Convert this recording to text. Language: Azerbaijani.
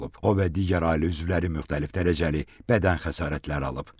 O və digər ailə üzvləri müxtəlif dərəcəli bədən xəsarətləri alıb.